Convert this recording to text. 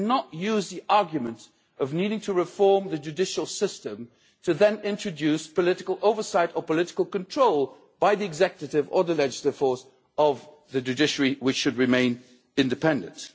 You cannot use the argument of needing to reform the judicial system to then introduce political oversight or political control by the executive or the legislative force of the judiciary, which should remain independent.